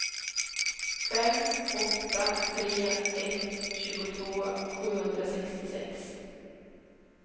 fem åtta tre ett tjugotvå sjuhundrasextiosex